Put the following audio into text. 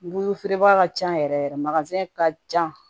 Guloki feere baga ka ca yɛrɛ yɛrɛ ka jan